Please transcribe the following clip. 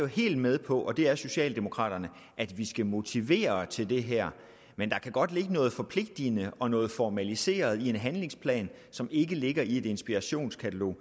helt med på og det er socialdemokraterne at vi skal motivere til det her men der kan godt ligge noget forpligtende og noget formaliseret i en handlingsplan som ikke ligger i et inspirationskatalog